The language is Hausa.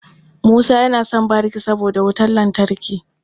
Musa yana son bariki saboda wutan lantarki.